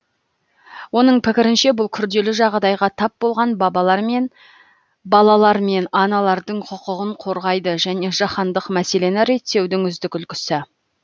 оның пікірінше бұл күрделі жағдайға тап болған балалар мен аналардың құқығын қорғайды және жаһандық мәселені реттеудің үздік үлгісі